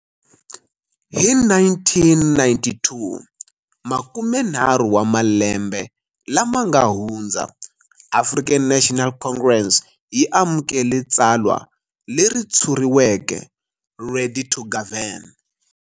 Hi 1992, makumenharhu wa malembe lama nga hundza, African National Congress yi amukele tsalwa leri tshuriweke 'Ready to Govern'.